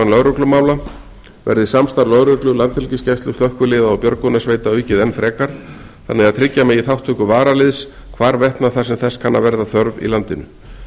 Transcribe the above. lögreglumála verður samstarf lögreglu landhelgisgæslu slökkviliða og björgunarsveita aukið enn frekar þannig að tryggja megi þátttöku varaliðs hvarvetna þar sem þess kann að verða þörf í landinu